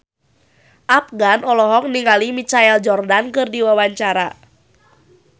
Afgan olohok ningali Michael Jordan keur diwawancara